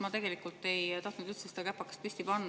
Ma tegelikult ei tahtnud üldse käpakest püsti panna …